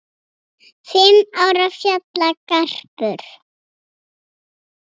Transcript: Fimm ára fjallagarpur